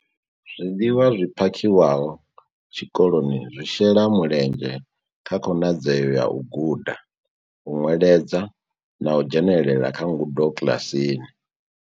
Zwiḽiwa zwi phakhiwaho tshikoloni zwi shela mulenzhe kha khonadzeo ya u guda, u nweledza na u dzhenela kha ngudo kiḽasini.